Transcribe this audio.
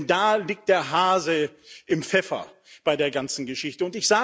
Denn da liegt der Hase im Pfeffer bei der ganzen Geschichte.